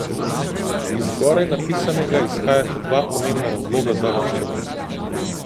Iz zgoraj napisanega izhajata dva pomembna razloga za varčevanje.